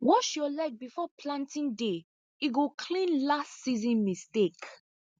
wash your leg before planting day e go clean last season mistake